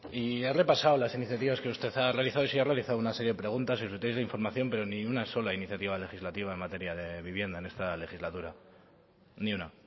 y he repasado las iniciativas que usted ha realizado y sí ha realizado una serie de preguntas y solicitudes de información pero ni una sola iniciativa legislativa en materia de vivienda en esta legislatura ni una